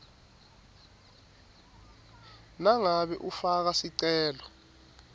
nangabe ufaka sicelo